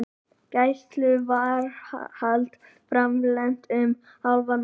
Gæsluvarðhald framlengt um hálfan mánuð